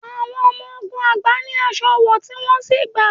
Awon Omo ogun agba ni aṣọ wọ, ti wọn si gba